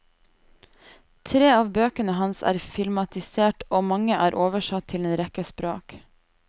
Tre av bøkene hans er filmatisert og mange er oversatt til en rekke språk.